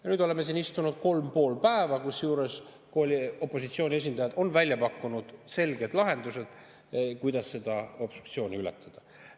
Ja nüüd oleme siis istunud 3,5 päeva, kusjuures opositsiooni esindajad on välja pakkunud selged lahendused, kuidas seda obstruktsiooni ületada.